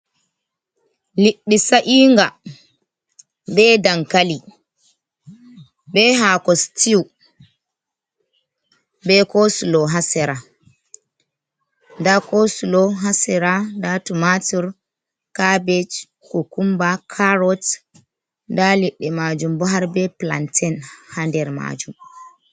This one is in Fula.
Liddi sa'inga be dankali be hako stiw be kosulo hasera, da kosulo hasera da tomatur, cabeje, kukumba, carrot da liddi majum bo har be plantein hader majum.